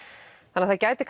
það gæti